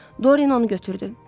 Doryan onu götürdü.